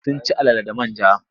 Sun ci alala da man ja.